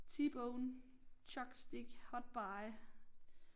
T-bone chuck stick hot buy